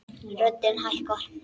Röddin hækkar.